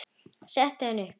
Setti hana upp.